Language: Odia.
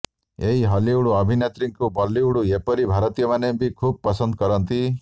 ଏଇ ହଲିଉଡ ଅଭିନେତ୍ରୀଙ୍କୁ ବଲିଉଡ ଏପରିକି ଭାରତୀୟମାନେ ବି ଖୁବ୍ ପସନ୍ଦ କରନ୍ତି